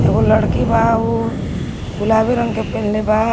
एगो लड़की बा उ गुलाबी रंग के पेन्हले बा।